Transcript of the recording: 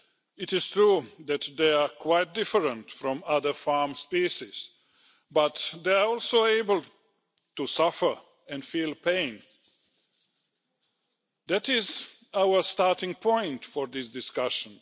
It is true that they are quite different from other farm species, but they are also able to suffer and feel pain. That is our starting point for this discussion.